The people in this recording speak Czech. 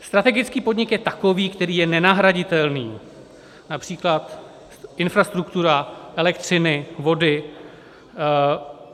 Strategický podnik je takový, který je nenahraditelný, například infrastruktura elektřiny, vody.